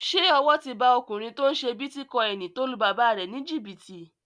Ṣé owó ti ba ọkùnrin tó n ṣe bítíkọ́ìnì tó lu bàbá rẹ̀ ní jìbìtì?